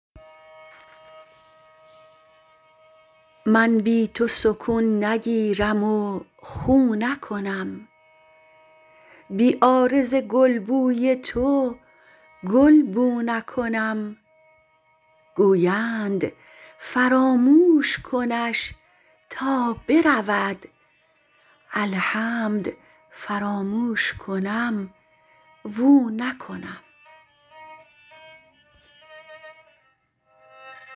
من بی تو سکون نگیرم و خو نکنم بی عارض گلبوی تو گل بو نکنم گویند فراموش کنش تا برود الحمد فراموش کنم و او نکنم